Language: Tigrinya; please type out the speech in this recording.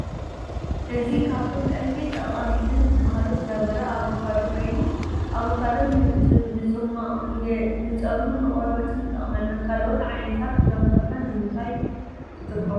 እዚ ካብቶም ቀንዲ ጠቀምተን ዝበሃሉ ፍረምረ ኣፋካዶ ኮይኑ ኣቫካዶ ንጥማቅ ፣ ንፀጉረን ንቆርበትና ይጠቅመና። ካለኦት ዓይነታት ፍረምረ ከ ንምንታይ ትጥቀምሎም ?